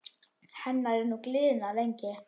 Hennar er nú gliðnað gengi.